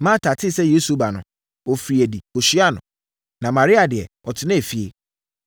Marta tee sɛ Yesu reba no, ɔfirii adi kɔhyiaa no, na Maria deɛ, ɔtenaa efie.